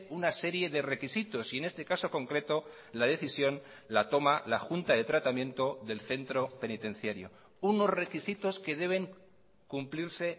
una serie de requisitos y en este caso concreto la decisión la toma la junta de tratamiento del centro penitenciario unos requisitos que deben cumplirse